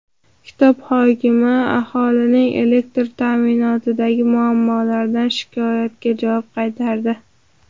Kitob hokimi aholining elektr ta’minotidagi muammolardan shikoyatiga javob qaytardi.